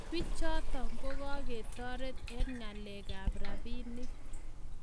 Pichoto ko ka ketotet eng ngaleek ab rapinik